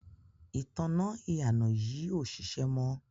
ìtanná ìyànà yìí ò ṣiṣẹ́ mọ́.